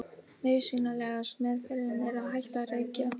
nauðsynlegasta „meðferðin“ er að hætta að reykja